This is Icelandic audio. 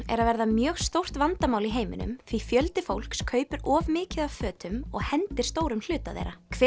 er að verða mjög stórt vandamál í heiminum því fjöldi fólks kaupir of mikið af fötum og hendir stórum hluta þeirra hver